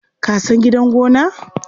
Ka san gidan gona?